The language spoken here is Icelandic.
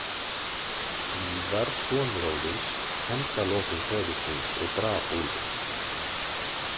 Víðar, sonur Óðins, hefndi að lokum föður síns og drap úlfinn.